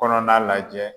Kɔnɔna lajɛ